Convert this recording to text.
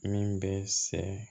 Min bɛ sɛnɛ